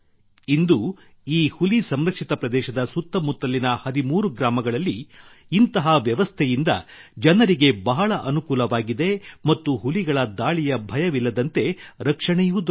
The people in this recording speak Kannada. ಇಂದು ಈ ಹುಲಿ ಸಂರಕ್ಷಿತ ಪ್ರದೇಶದ ಸುತ್ತ ಮುತ್ತಲಿನ 13 ಗ್ರಾಮಗಳಲ್ಲಿ ಇಂತಹ ವ್ಯವಸ್ಥೆಯಿಂದ ಜನರಿಗೆ ಬಹಳ ಅನುಕೂಲವಾಗಿದೆ ಮತ್ತು ಹುಲಿಗಳ ದಾಳಿಯ ಭಯವಿಲ್ಲದಂತೆ ರಕ್ಷಣೆಯೂ ದೊರೆತಿದೆ